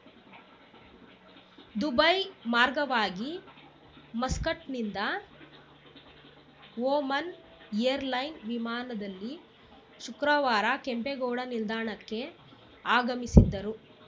Dubai ಮಾರ್ಗವಾಗಿ ಮಸ್ಕಟ್‌ನಿಂದ Oman airline ವಿಮಾನದಲ್ಲಿ ಶುಕ್ರವಾರ ಕೆಂಪೇಗೌಡ ನಿಲ್ದಾಣಕ್ಕೆ ಆಗಮಿಸಿದ್ದರು